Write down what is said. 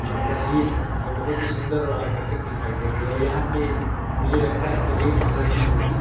हां तस्वीर है और बहोत ही सुंदर और आकर्षक दिखाई दे रही है और यहां से मुझे लगता है कि रेल गुजरती होगी।